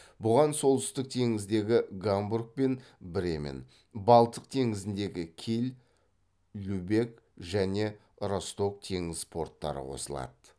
бұған солтүстік теңіздегі гамбург пен бремен балтық теңізіндегі киль любек және росток теңіз порттары қосылады